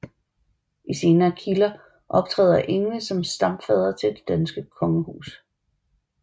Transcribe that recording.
I senere kilder optræder Ingve som stamfader til det danske kongehus